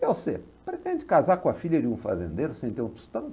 E você, pretende casar com a filha de um fazendeiro sem ter um tostão?